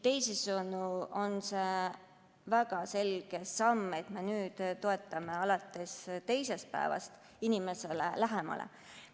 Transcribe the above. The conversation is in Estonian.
Teisisõnu on see, et me toetame alates teisest päevast, väga selge samm inimesele lähemale.